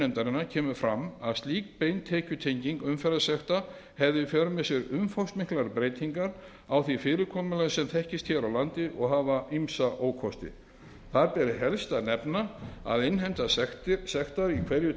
nefndarinnar kemur fram að slík bein tekjutenging umferðarlagasekta hefði í för með sér umfangsmiklar breytingar á því fyrirkomulagi sem þekkist hér á landi og ýmsa ókosti þar ber helst að nefna að innheimta sektar í hverju